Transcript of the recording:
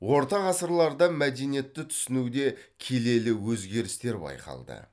ортағасырларда мәдениетті түсінуде келелі өзгерістер байқалды